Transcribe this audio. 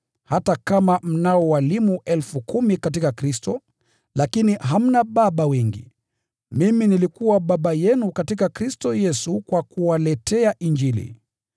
Hata kama mnao walimu 10,000 katika Kristo, lakini hamna baba wengi. Mimi nilikuwa baba yenu katika Kristo Yesu kwa kuwaletea Injili.